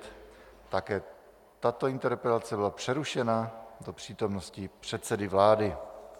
Také tato interpelace byla přerušena do přítomnosti předsedy vlády.